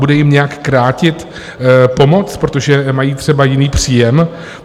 Bude jim nějak krátit pomoc, protože mají třeba jiný příjem?